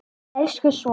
Elsku sonur.